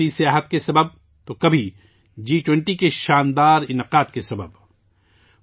کبھی بڑھتی ہوئی سیاحت کے سبب ، تو کبھی جی20 کے شاندار انعقاد کی وجہ سے